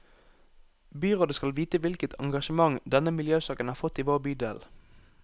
Byrådet skal vite hvilket engasjement denne miljøsaken har fått i vår bydel.